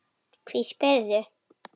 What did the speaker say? Hví spyrðu?